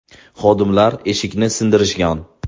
Xodimlar eshikni sindirishgan.